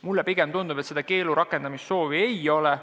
Mulle pigem tundub, et keelu rakendamise soovi ei ole.